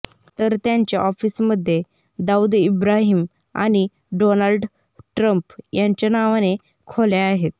तर त्यांच्या ऑफिसमध्ये दाऊद इब्राहिम आणि डोनाल्ड ट्रम्प यांच्या नावाने खोल्या आहेत